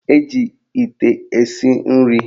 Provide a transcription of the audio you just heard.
Eji ite esi nri